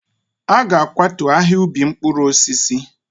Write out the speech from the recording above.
A ga-akwatu ahịa ubi mkpụrụ osisi.